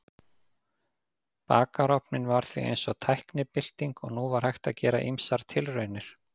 Bakarofninn var því eins og tæknibylting og nú var hægt að gera ýmsar tilraunir.